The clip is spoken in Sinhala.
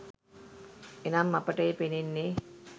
එනම් අපට එය පෙනෙන්නේ